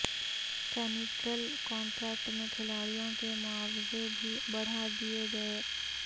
central contract میں کھلاڑیوں کے معاوضے بھی بڑھا دیے گئے